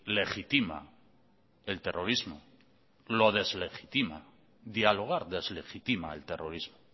legitima el terrorismo lo deslegitima dialogar deslegitima el terrorismo